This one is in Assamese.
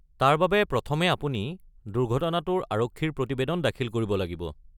তাৰ বাবে প্ৰথমে আপুনি দুৰ্ঘটনাটোৰ আৰক্ষীৰ প্ৰতিবেদন দাখিল কৰিব লাগিব।